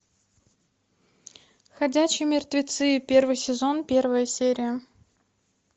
ходячие мертвецы первый сезон первая серия